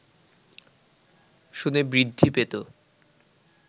শুনে বৃদ্ধি পেত